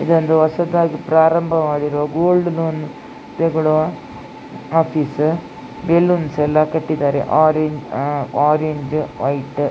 ಇದೊಂದು ಹೊಸದಾಗಿ ಪ್ರಾರಂಭವಾಗಿರುವ ಗೋಲ್ಡ್ ಲೋನ್ ತೆಗೊಳ್ಳುವ ಆಫೀಸ್. ಬೆಲೂನ್ಸ್ ಎಲ್ಲ ಕಟ್ಟಿದ್ದಾರೆ ಆರೆಂಜ್ ಆ ಆರೇಂಜ್ ವೈಟ್